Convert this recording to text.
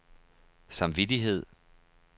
samvittighed